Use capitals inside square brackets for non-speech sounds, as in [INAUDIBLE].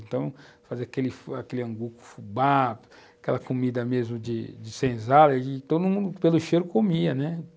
Então, fazer aquele aquele [UNINTELLIGIBLE] angu com fubá, aquela comida mesmo de de senzala, e todo mundo pelo cheiro comia, né?